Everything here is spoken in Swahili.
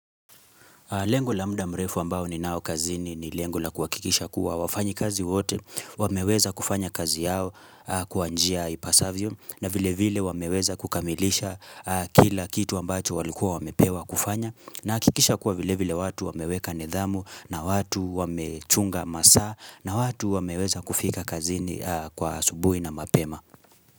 Lengo la muda mrefu ambao ni nao kazini ni lengo la kuhakikisha kuwa wafanyi kazi wote, wameweza kufanya kazi yao kwa njia ipasavyo, na vile vile wameweza kukamilisha kila kitu ambacho walikua wamepewa kufanya, nahakikisha kuwa vile vile watu wameweka nidhamu, na watu wamechunga masaa, na watu wameweza kufika kazini kwa asubuhi na mapema.